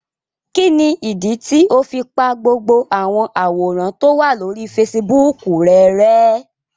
Kini idi tio fi pa gbogbo awọn aworan to wa lori Fèsìbúukù rẹ rẹ̀?